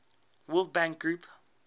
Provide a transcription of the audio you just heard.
world bank group